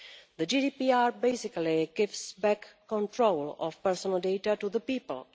The GDPR basically gives back control of personal data to the people.